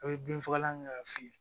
A' be bin fagalan kɛ k'a fiyɛ